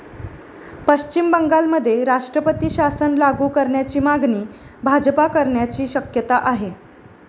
पश्चिम बंगालमध्ये राष्ट्रपती शासन लागू करण्याची मागणी भाजपा करण्याची शक्यता आहे.